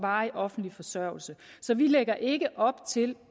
varig offentlig forsørgelse så vi lægger ikke op til